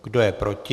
Kdo je proti?